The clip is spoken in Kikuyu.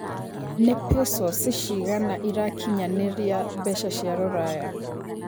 nĩ pesos cigana ĩrakinyanĩria mbeca cia rũraya